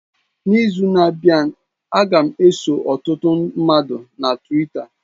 N'izu na-abịa, a ga m eso ọtụtụ mmadụ na Twita.